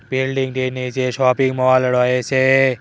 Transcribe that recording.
Building -টির নীচে shopping mall রয়েছে।